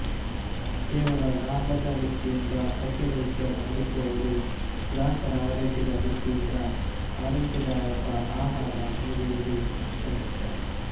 ಕೇವಲ ಲಾಭದ ದೃಷ್ಟಿಯಿಂದ ಹೋಟೆಲ್ ಉದ್ಯಮ ನಡೆಸುವವರು ಗ್ರಾಹಕರ ಆರೋಗ್ಯದ ದೃಷ್ಟಿಯಿಂದ ಆರೋಗ್ಯದಾಯಕ ಆಹಾರ ನೀಡುವುದೂ ಅಷ್ಟೇ ಮುಖ್ಯ